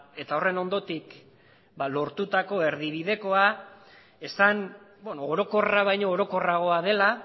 eta horren ondotik lortutako erdibidekoa esan orokorra baino orokorragoa dela